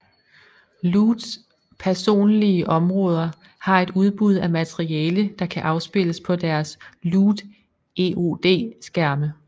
Loots personlige områder har et udbud af materiale der kan afspilles på deres Loot EOD skærme